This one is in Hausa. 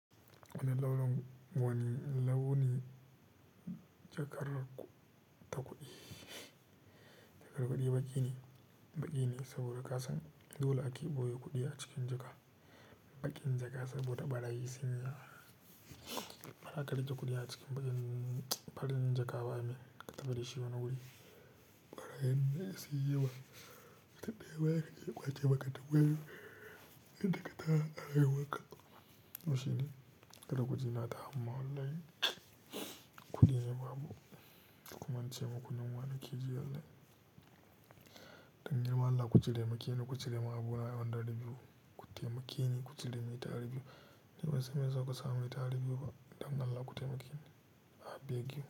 Wani launin wani launi jakar ta kuɗi. Jakar kuɗi baƙi ne, baƙi ne saboda kasan dole ake boye kuɗi a cikin jaka. Baƙin jaka saboda ɓarayi sunyi bazaka rike kuɗi a cikin baƙin farin jakaba i mean katafi da shi wani wuri. Ɓarayin ne su yi wa taɗe waye yake ƙwace baƙaɗe waye inda ka taba haihuwa ka. Washi ne kata kuɗi nata amma wallahi kuɗi ne babu. Duk mun ce maku nan wa ne ke ji wallahi. Dan yima Allah ku cire makini ku cire ma abu ha on dari biyu. Ku taimakini ku cire mai tara biyu. Ni kuma sai mayasa kusa mai tara biyu ba. Dan Allah ku taimakini a biyar biyu.